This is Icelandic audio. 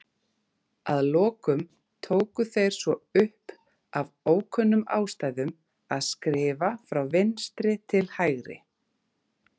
Að lokum tóku þeir svo upp, af ókunnum ástæðum, að skrifa frá vinstri til hægri.